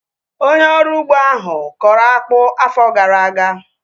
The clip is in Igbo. Onye ọrụ ugbo ahu kọrọ akpụ afọ gara aga